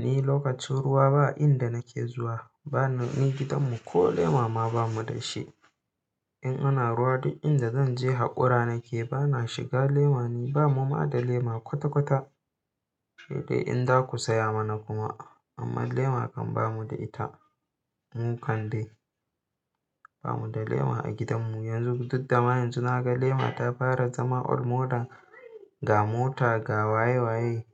Ni lokacin ruwa ba inda nake zuwa. Ba na ni gidanmu ko lema ma bamu da shi. In ana ruwa duk inda zan je haƙura nake, ba na shiga lema. Ni ba mu ma da lema kwata-kwata. Shey dai in za ku saya mana kuma amma lema kan bamu da ita. Mu kam dai bamu da lema a gidanmu yanzun duk dama yanzu na ga lema ta fara zama old model ga mota, ga waye-waye